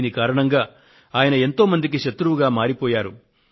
దీని కారణంగా ఆయన ఎంతో మందికి శత్రువుగా మారిపోయారు